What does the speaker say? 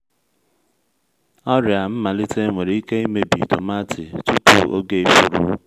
ọrịa mmalite nwere ike imebi tomaatị tupu oge ifuru